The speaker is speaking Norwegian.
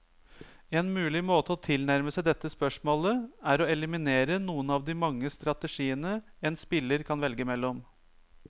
En mulig måte å tilnærme seg dette spørsmålet, er å eliminere noen av de mange strategiene en spiller kan velge mellom.